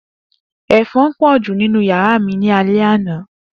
Efon po ju ninu yara mi ni alẹ ana.